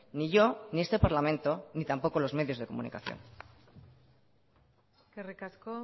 ni yo ni este parlamento ni tampoco los medios de comunicación eskerrik asko